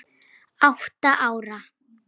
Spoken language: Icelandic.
Átta ára